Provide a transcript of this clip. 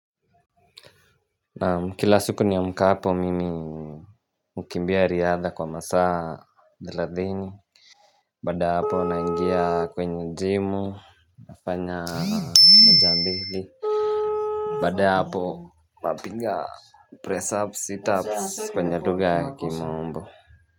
Kila siku niamkapo mimi Hukimbia riadha kwa masaa thelathini baada ya hapo naingia kwenye jimu nafanya moja mbili baada ya hapo napiga press up setups kwenye lugha ya kimombo.